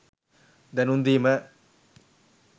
දැනුම් දීම